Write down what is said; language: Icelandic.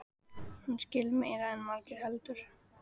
Hún skilur meira en margur heldur.